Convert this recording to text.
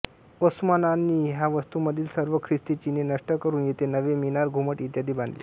ओस्मानांनी ह्या वास्तूमधील सर्व ख्रिस्ती चिन्हे नष्ट करून येथे नवे मिनार घुमट इत्यादी बांधले